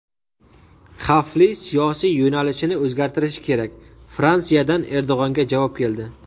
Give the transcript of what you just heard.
Xavfli siyosiy yo‘nalishini o‘zgartirishi kerak – Fransiyadan Erdo‘g‘anga javob keldi.